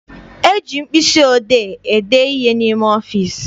E ji mkpịsị odee ede ihe n'ime ọfịịsi.